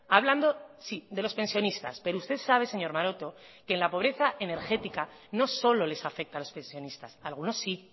hablando sí de los pensionistas pero usted sabe señor maroto que en la pobreza energética no solo les afecta a los pensionistas a algunos sí